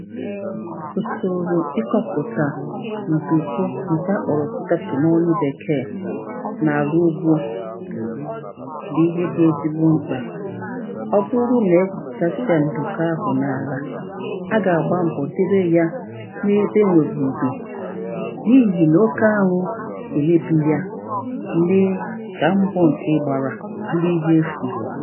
Usoro ịkọpụtà ndukọ nke a kpọrọ product na onu mbekè na arụ ugbo bụ ihe dị ezigbo mkpà ọ bụrụ na egwuputasie ndụka ahụ na alà, a ga-agba mbọ debe yà na ebe enwere ndo na ihi na oke anwụ emebi yà mee a mbọ nke ị gbarà bụrụ ihe efù